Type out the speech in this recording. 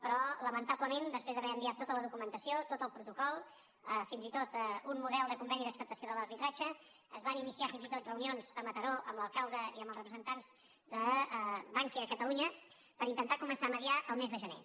però lamentablement després d’haver enviat tota la documentació tot el protocol fins i tot un model de conveni d’acceptació de l’arbitratge es van iniciar fins i tot reunions a mataró amb l’alcalde i amb els representants de bankia a catalunya per intentar començar a mitjançar el mes de gener